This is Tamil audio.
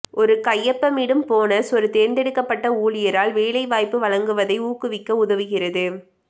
ஒரு கையொப்பமிடும் போனஸ் ஒரு தேர்ந்தெடுக்கப்பட்ட ஊழியரால் வேலை வாய்ப்பு வழங்குவதை ஊக்குவிக்க உதவுகிறது